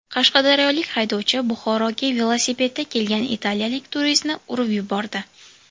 Qashqadaryolik haydovchi Buxoroga velosipedda kelgan italiyalik turistni urib yubordi.